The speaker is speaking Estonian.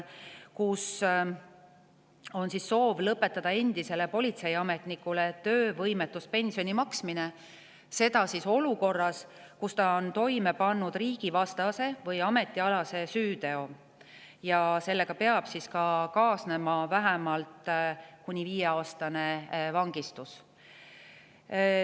Nimelt on soov lõpetada endisele politseiametnikule töövõimetuspensioni maksmine juhul, kui ta on toime pannud riigivastase või ametialase süüteo ja sellega on kaasnenud vähemalt kuni viieaastane vangistus.